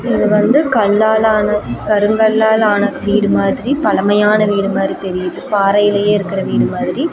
இது வந்து கல்லாலான கருங்கல்லாலான வீடு மாதிரி பழமையான வீடு மாறி தெரியுது பாறைலயே இருக்கற வீடு மாதிரி.